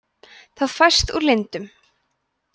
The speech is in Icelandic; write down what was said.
það fæst úr lindum